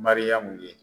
Mariyamu ye